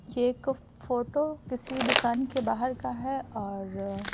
यह एक फोटो किसी दुकान के बाहर का है और--